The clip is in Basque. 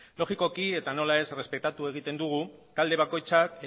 logikoki eta nola ez errespetatzen dugu talde bakoitzak